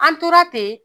An tora ten